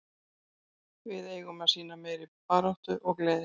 Við eigum að sýna meiri baráttu og gleði.